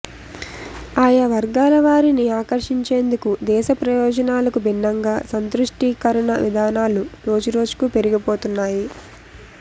ఆయా వర్గాల వారిని ఆకర్షించేందుకు దేశ ప్రయోజనాలకు భిన్నంగా సంతుష్టీకరణ విధానాలు రోజురోజుకూ పెరిగిపోతున్నాయి